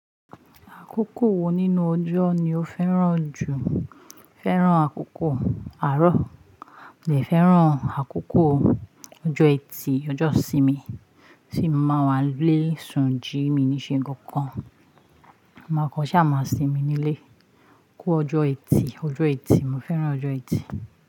Àkókò wo nínú ọjọ́ ni o fẹ́ràn jù? Fẹ́ràn àkókò àárọ̀, mo dè fẹ́ràn àkókò ọjọ́ ẹtì, ọjọ́ ìsinmi, tí mo máa wá lé sùn jí mi ní ṣe nǹkan kan. Máa kọ́ ṣàmà sínmi nílé kò ọjọ́ ẹtì, ọjọ́ ẹtì, mo fẹ́ràn ọjọ́ ẹtì.